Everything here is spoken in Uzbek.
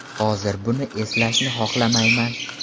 Hozir buni eslashni xohlamayman.